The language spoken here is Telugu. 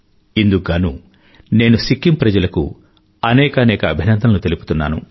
ఇందుకు గానూ నేను సిక్కిం ప్రజలకు అనేకానేక అభినందనలు తెలుపుతున్నాను